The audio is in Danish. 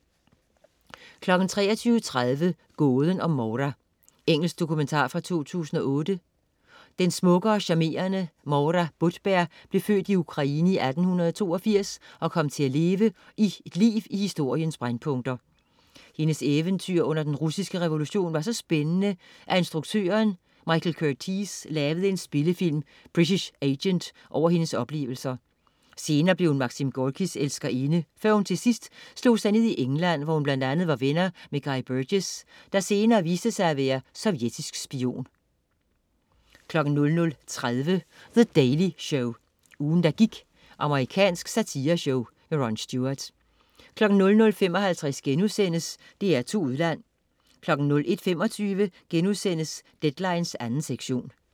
23.30 Gåden om Moura. Engelsk dokumentar fra 2008. Den smukke og charmerende Moura Budberg blev født i Ukraine i 1882 og kom til at leve et liv i historiens brændpunkter. Hendes eventyr under den russiske revolution var så spændende, at instruktøren Michael Curtiz lavede en spillefilm, "British Agent", over hendes oplevelser. Senere blev hun Maxim Gorkis elskerinde, før hun til sidst slog sig ned i England, hvor hun bl.a. var venner med Guy Burgess, der senere viste sig at være sovjetisk spion 00.30 The Daily Show. Ugen, der gik. Amerikansk satireshow. Ron Stewart 00.55 DR2 Udland* 01.25 Deadline 2. sektion*